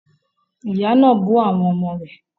Ìyá náà bú àwọn ọmọ rẹ̀